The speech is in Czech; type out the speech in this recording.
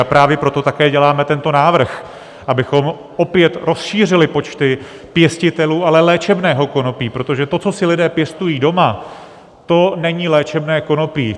A právě proto také děláme tento návrh, abychom opět rozšířili počty pěstitelů, ale léčebného konopí, protože to, co si lidé pěstují doma, to není léčebné konopí.